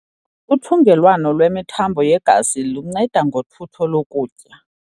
Uthungelwano lwemithambo yegazi lunceda ngothutho lokutya.